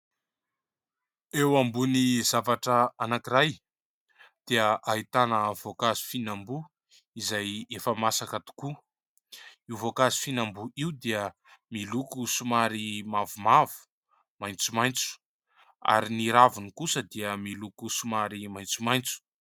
Eo ambony zavatra anankiray dia ahitana voankazo fihinamboa izay efa masaka tokoa io voankazo fihinamboa io dia miloko somary mavomavo, maitsomaitso ary ny raviny kosa dia miloko somary maitsomaitso.